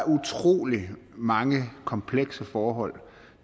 utrolig mange komplekse forhold